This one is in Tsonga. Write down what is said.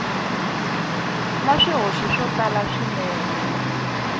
na swihoxo swo tala swinene